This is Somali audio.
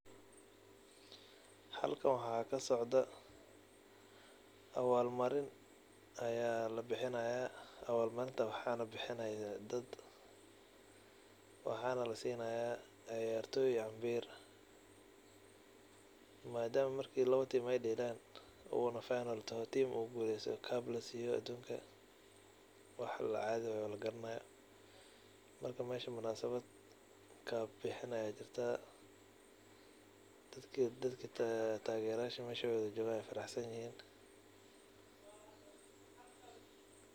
Halkan waxa kasocdo awal marin oo taso waxa lasinaya ciyartoy ambir oo marka lawo tim deelan oo tim gulesto aya cub lasiya oo wax cadi waye markamunasabada cub aya lugusinaya oo dadka meesha joga wey faraxsanyihin.